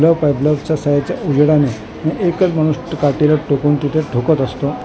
या बल्बच्या सहाय्याने उजेडाने एकच माणूस काटेला टोकून तिथं ठोकत असतं .